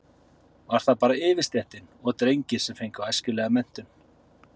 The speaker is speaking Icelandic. Var það bara yfirstéttin og drengir sem fengu æskilega menntun?